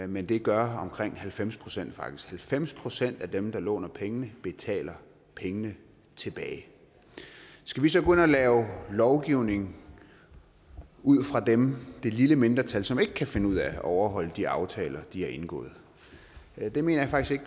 men det gør omkring halvfems procent faktisk halvfems procent af dem der låner penge betale pengene tilbage skal vi så gå ind og lave lovgivning ud fra dem det lille mindretal som ikke kan finde ud af at overholde de aftaler de har indgået det mener jeg faktisk